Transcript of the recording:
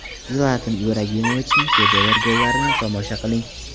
Zlatan Ibragimovichning shedevr gollarini tomosha qiling !